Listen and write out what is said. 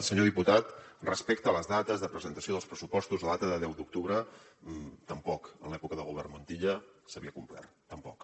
senyor diputat respecte a les dates de presentació dels pressu postos la data de deu d’octubre tampoc en l’època del govern montilla s’havia complert tampoc